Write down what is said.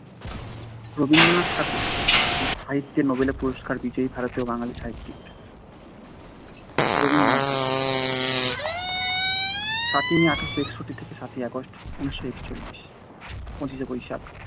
রবীন্দ্রনাথ ঠাকুর সাহিত্যে নোবেল পুরষ্কার বিজয়ে ভারতীয় বাঙ্গালী সাহিত্যিক রবীন্দ্রনাথ ঠাকুর সাত মে এক হাজার আট শো একষট্টি থেকে সাত আগস্ট এক হাজার নয় শো একচল্লিশ পঁচিশ বৈশাখ এক হাজার আট শো আটষট্টি থেকে বাইশ শ্রাবণ